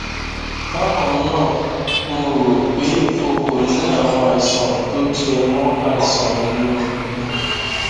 bákan náà mo rò pé o kò ní àwọn àìsàn tó jẹ mọ àìsàn inú ikùn